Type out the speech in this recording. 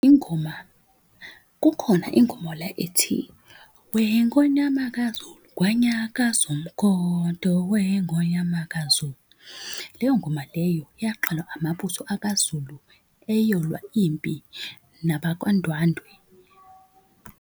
Ingoma kukhona ingoma ethi, weNgonyama kaZulu kwanyaka umkhonto weNgonyama kaZulu. Leyo ngoma leyo yaqalwa amabutho akaZulu eyohlolwa impi, nabakwaNdwandwe.